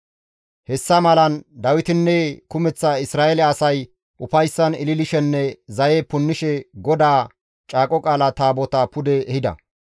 Hessa malan Dawitinne kumeththa Isra7eele asay ufayssan ililishenne zaye punnishe GODAA Caaqo Qaala Taabotaa pude ehida.